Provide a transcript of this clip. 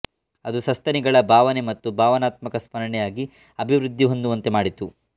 ಅದು ಸಸ್ತನಿಗಳ ಭಾವನೆ ಮತ್ತು ಭಾವನಾತ್ಮಕ ಸ್ಮರಣೆಯಾಗಿ ಅಭಿವೃದ್ಧಿ ಹೊಂದುವಂತೆ ಮಾಡಿತು